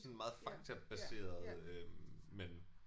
Sådan meget faktabaseret øh men